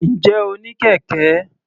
Ǹjẹ́ o ní kẹ̀kẹ́?